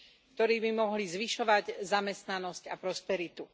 ktoré by mohli zvyšovať zamestnanosť a prosperitu.